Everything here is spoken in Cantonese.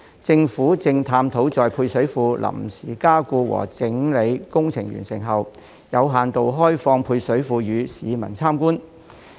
政府正探討在配水庫臨時加固和整理工程完成後，有限度開放配水庫予市民參觀。